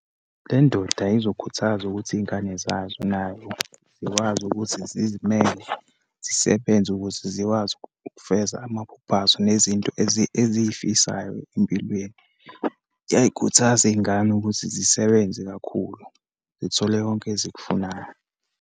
Le ndoda ezokhuthaza ukuthi iyingane zazo nayo zikwazi ukuthi zizimele, zisebenze ukuze zikwazi ukufeza amaphupho azo, nezinto eziyifisayo empilweni. Kuyayikhuthaza iyingane ukuthi zisebenze kakhulu, zithole konke ezikufunayo.